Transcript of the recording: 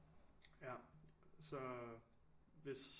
Så hvis